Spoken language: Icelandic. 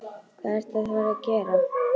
Hvað ertu að fara að gera?